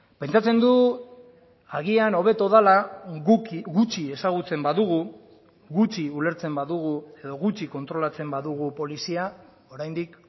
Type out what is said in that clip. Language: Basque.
pentsatzen du agian hobeto dela guk gutxi ezagutzen badugu gutxi ulertzen badugu edo gutxi kontrolatzen badugu polizia oraindik